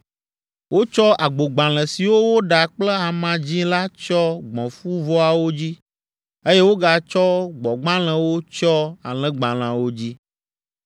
Wotsɔ agbogbalẽ siwo woɖa kple ama dzĩ la tsyɔ gbɔ̃fuvɔawo dzi, eye wogatsɔ gbɔ̃gbalẽwo tsyɔ alẽgbalẽawo dzi.